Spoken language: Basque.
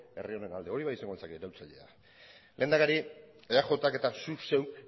herri honen alde hori bai izango litzateke iraultzailea lehendakari eajk eta zuk zeuk